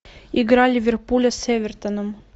игра ливерпуля с эвертоном